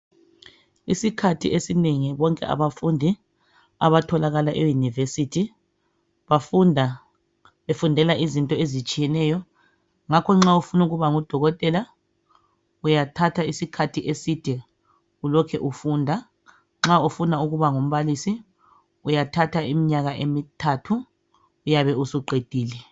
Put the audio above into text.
Isikhathi esinengi bonke abafundi abatholakala eYunivesithi bafunda befundela izinto ezitshiyeneyo ngakho nxa ufuna ukuba ngudokotela uyathatha isikhathi eside ulokhe ufunda. Nxa ufuna ukuba ngumbalisi uyathatha iminyaka emthathu uyabe usuqedile.